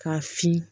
K'a fin